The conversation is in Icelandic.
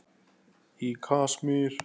Í Kasmír